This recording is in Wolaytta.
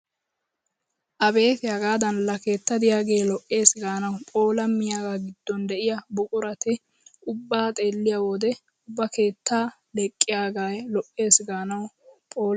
Abeeti hagaadan laa keetta de'iyagee lo'eesi gaanawu pholqqammiyagaa giddon de'iya buqurata ubba xeelliyo wode ubba keettaa leqqiyagee lo'ees gaanawu phoolees!